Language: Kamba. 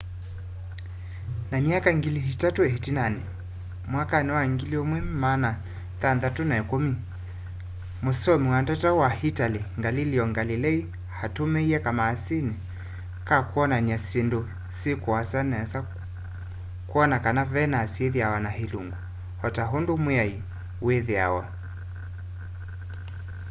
ta myaka ngili itatũ ĩtinanĩ mwakani wa 1610 mũsoomi wa ndata wa italy galileo galilei aatũmĩie kamasini ka kwonan'ya syĩndũ syi kuasa nesa kwona kana venus ithiawa na ilungu o ta ũndũ mwai wĩthĩawa